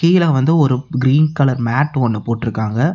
கீழ வந்து ஒரு கிரீன் கலர் மேட் ஒன்னு போட்டுருக்காங்க.